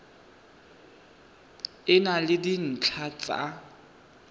e na le dintlha tsa